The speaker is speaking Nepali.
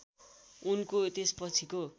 उनको त्यसपछिको